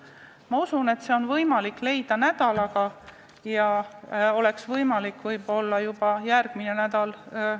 Ma usun, et see on võimalik leida nädalaga, võib-olla juba järgmisel nädalal.